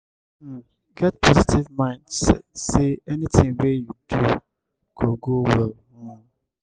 um get positive mind sey anything wey you do go go well um